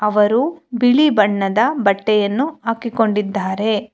ಅವರು ಬಿಳಿ ಬಣ್ಣದ ಬಟ್ಟೆಯನ್ನು ಹಾಕಿಕೊಂಡಿದ್ದಾರೆ.